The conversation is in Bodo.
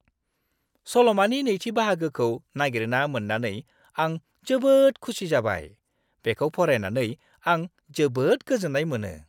सल'मानि नैथि बाहागोखौ नागिरना मोन्नानै आं जोबोद खुसि जाबाय। बेखौ फरायनानै आं जोबोद गोजोन्नाय मोनो।